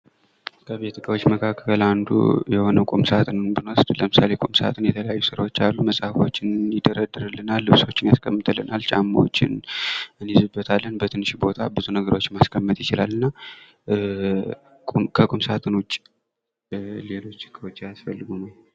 ከቤት እቃዎች መካከል አንዱ የሆነውን ቁምሳጥንን ብንወስድ ለምሳሌ ቁም ሳጥን መጽሀፎችን ይደረደርልናል ልብሶችን ያስቀምጠልናል ጫማዎችን ይይዛል በትንሽ ቦታ ብዙ ነገሮችን ማስቀመጥ ይችላልና ከቁምሳጥን ውጭ ሌሎች እቃዎችም ያስፈልጉናል።